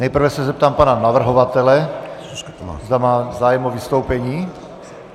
Nejprve se zeptám pana navrhovatele, zda má zájem o vystoupení.